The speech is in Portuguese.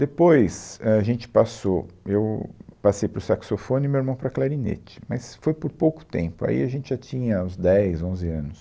Depois, ãh, a gente passou, eu passei para o saxofone e o meu irmão para clarinete, mas foi por pouco tempo, aí a gente já tinha uns dez, onze anos.